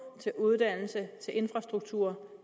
til uddannelse til infrastruktur